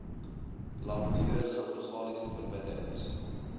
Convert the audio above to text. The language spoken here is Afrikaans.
langdurige organiese verbindings